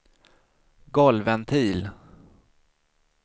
golvventil